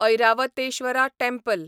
Airavatesvara temple